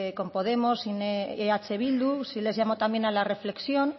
con podemos eh bildu sí les llamo también a la reflexión